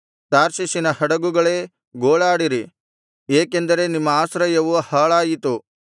ತಾರ್ಷೀಷಿನ ಹಡಗುಗಳೇ ಗೋಳಾಡಿರಿ ಏಕೆಂದರೆ ನಿಮ್ಮ ಆಶ್ರಯವು ಹಾಳಾಯಿತು